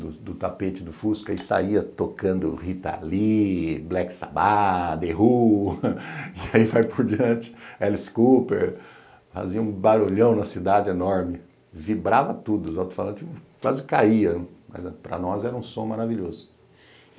do do tapete do fusca e saía tocando Rita Lee, Black Sabbath, The Who, e aí vai por diante, Alice Cooper, fazia um barulhão na cidade enorme, vibrava tudo, os alto-falantes quase caíam, mas para nós era um som maravilhoso.